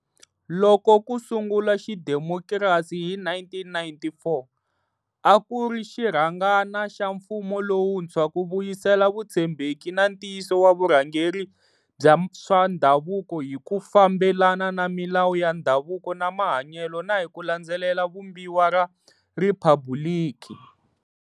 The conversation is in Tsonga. Loko ku sungula xidemokirasi hi 1994, a ku ri xirhangana xa mfumo lowuntshwa ku vuyisela vutshembeki na ntiyiso wa vurhangeri bya swa ndhavuko hi ku fambelana na milawu ya ndhavuko na mahanyelo na hi ku landzelela Vumbiwa ra Riphabuliki.